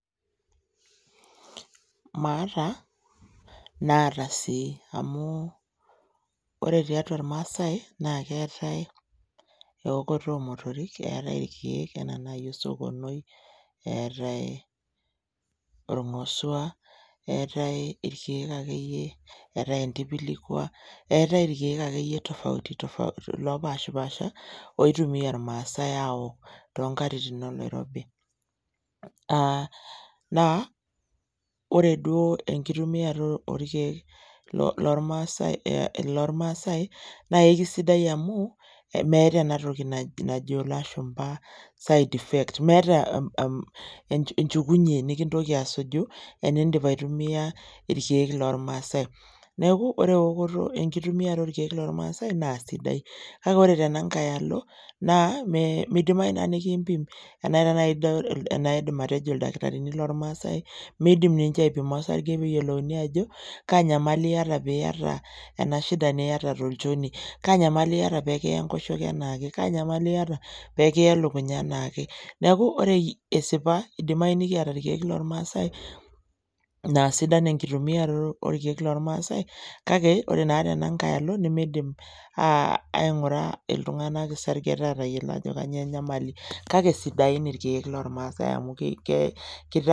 Maata naata sii amu ore tiatua irmaasai naake eetai eokoto oo motorik, eetai irkeek enaa naai osokonoi, eetai orng'osua, eetai irkeek akeyie eetai entipilikua, eetai irkeek akeyie tofauti tofauti lopaashipaasha oitumia irmaasai aawok too nkatitin oloirob. Aa naa ore duo enkitumiato orkeek lo lormaasai ee lormaasai naae kisidai amu meeta ena toki najo ilashumba side effect, meeta enjukunye nekintoki asuju eniindip aitumia irkeek lormaasai. Neek ore ewokoto enkitumiato orkeek lormaasai naa sidai, kake ore tena nkae alo naa midimayu naa nekiimpim ena nai ijo enaidim atejo lidakitarini lormaasai, miidim ninje aipima osarge peeyolouni aajo kaa nyamali iyata piiyata ena shida niyata tolchoni, kaa nyamali iyata pee kiya enkoshoke enaake, kaa nyamali iyata pee kiya elukunya enaake. Neeku ore esipa, idimayu nekiata irkeek lormaasai naa sidan enkitumiaroto orkeek lormaasai kake ore naa tena nkae alo nemiidim aa aing'ura iltung'anak isargeta aatayiolo ajo kanyoo enyamali. Kake sidain irkeek lormaasai amu ki kita...